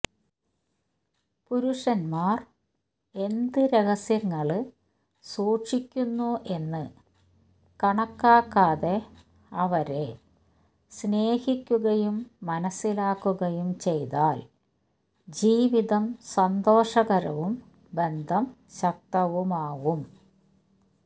പുരുഷന്മാര് എന്ത് രഹസ്യങ്ങള് സൂക്ഷിക്കുന്നു എന്ന് കണക്കാക്കാതെ അവരെ സ്നേഹിക്കുകയും മനസിലാക്കുകയും ചെയ്താല് ജീവിതം സന്തോഷകരവും ബന്ധം ശക്തവുമാകും